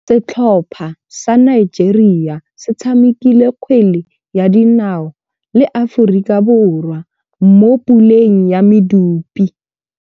Setlhopha sa Nigeria se tshamekile kgwele ya dinaô le Aforika Borwa mo puleng ya medupe.